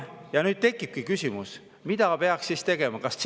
Ja nüüd tekibki küsimus, mida peaks siis tegema?